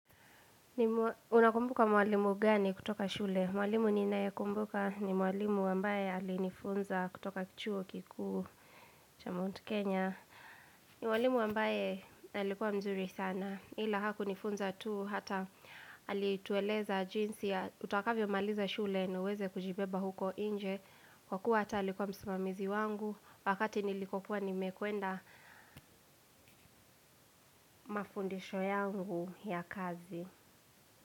Unakumbuka mwalimu gani kutoka shule? Mwalimu ninae kumbuka ni mwalimu wambaye alinifunza kutoka chuo kiku cha mount Kenya. Ni mwalimu wambaye alikuwa mzuri sana. Hila hakunifunza tu hata alituweleza jinsi ya utakavyo maliza shule na uweze kujibeba huko inje. Kwa kuwa hata alikuwa msimamizi wangu wakati nilikuwa nimekuenda mafundisho yangu ya kazi.